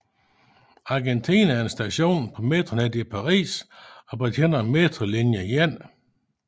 Argentine er en station på metronettet i Paris og betjener metrolinje 1